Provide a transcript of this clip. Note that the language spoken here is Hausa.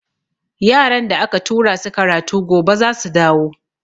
Yaran da aka tura su karatu gobe zasu dawo.